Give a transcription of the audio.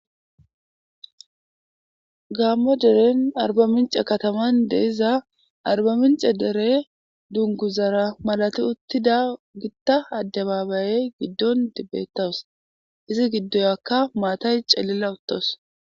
Gaamo deren arba mincce kataman de7iza arba mincce dere dunguzara malati uttizaara gido adababaye gidon beetawus izi giduwakka maatay celila uttawus.